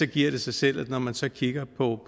giver det sig selv at når man så kigger på